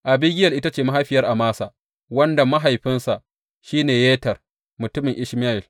Abigiyel ita ce mahaifiyar Amasa, wanda mahaifinsa shi ne Yeter mutumin Ishmayel.